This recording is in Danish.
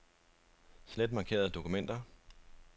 Slet markerede dokumenter.